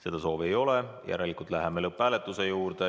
Seda soovi ei ole, järelikult läheme lõpphääletuse juurde.